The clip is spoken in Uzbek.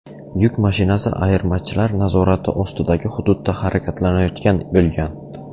Yuk mashinasi ayirmachilar nazorati ostidagi hududda harakatlanayotgan bo‘lgan.